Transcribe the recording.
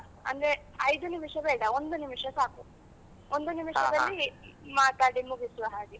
ಅಂದ್ರೆ ಐದು ನಿಮಿಷ ಬೇಡ, ಒಂದು ನಿಮಿಷ ಸಾಕು, ಒಂದು ಮಾತಾಡಿ ಮುಗಿಸುವ ಹಾಗೆ.